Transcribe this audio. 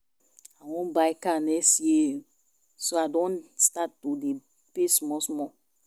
I wan buy car next year so I don start to dey pay small small